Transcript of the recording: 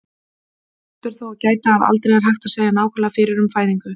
Þess ber þó að gæta, að aldrei er hægt að segja nákvæmlega fyrir um fæðingu.